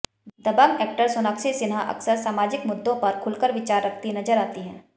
दबंग actor Sonakshi Sinha अक्सर सामाजिक मुद्दों पर खुलकर विचार रखती नजर आती हैं